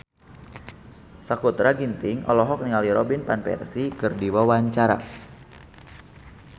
Sakutra Ginting olohok ningali Robin Van Persie keur diwawancara